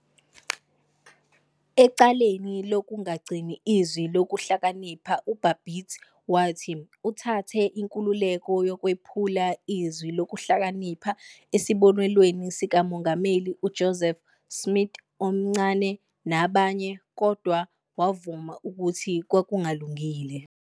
Ecaleni "lokungagcini Izwi Lokuhlakanipha", uBabbitt wathi "uthathe inkululeko yokwephula iZwi Lokuhlakanipha, esibonelweni sikaMongameli uJoseph Smith, omNcane, nabanye, kodwa wavuma ukuthi kwakungalungile.